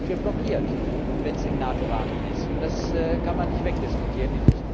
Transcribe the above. Dann sind wir blockiert, wenn es im NATO Rahmen ist, und das kann man nicht wegdiskutieren.